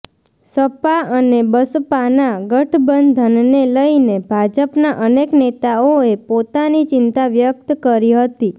સપા અને બસપાના ગઠબંધનને લઈને ભાજપના અનેક નેતાઓએ પોતાની ચિંતા વ્યક્ત કરી હતી